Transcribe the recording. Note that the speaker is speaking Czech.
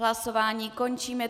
Hlasování končím.